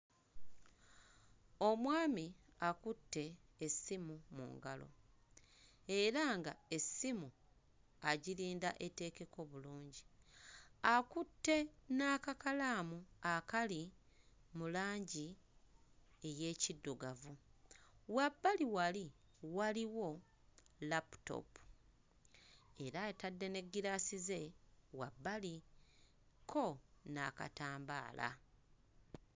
Omwami akutte essimu mu ngalo era nga essimu agirinda eteekeko bulungi akutte n'akakalaamu akali mu langi ey'ekiddugavu wabbali wali waliwo laputoopu era atadde n'eggiraasi ze wabbali kko n'akatambaala.